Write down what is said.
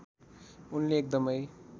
उनले एकदमै